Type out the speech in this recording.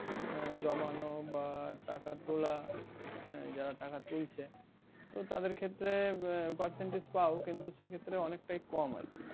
জমানো বা টাকা তোলা আহ যারা টাকা তুলছে তো তাদের ক্ষেত্রে percentage পাও সেই ক্ষেত্রে অনেকটাই কম আর কি